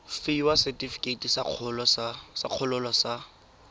fiwa setefikeiti sa kgololo sa